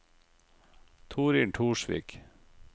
Toril Torsvik